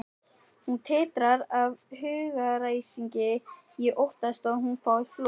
Hún titrar af hugaræsingi, ég óttast að hún fái flog.